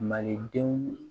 Malidenw